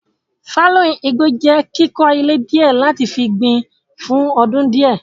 Fálóìn igbó jẹ́ kíkó ilẹ̀ díẹ̀ láti fi gbìn fún ọdún díẹ̀.